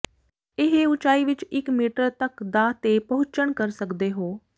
ਇਹ ਉਚਾਈ ਵਿੱਚ ਇੱਕ ਮੀਟਰ ਤੱਕ ਦਾ ਤੇ ਪਹੁੰਚਣ ਕਰ ਸਕਦੇ ਹੋ